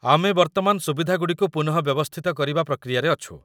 ଆମେ ବର୍ତ୍ତମାନ ସୁବିଧାଗୁଡ଼ିକୁ ପୁନଃବ୍ୟବସ୍ଥିତ କରିବା ପ୍ରକ୍ରିୟାରେ ଅଛୁ